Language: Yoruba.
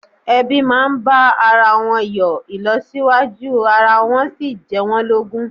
Ẹbí máa ń bá ara wọn yọ, ìlọsíwájú ara wọn sì jẹ́ wọ́n lógún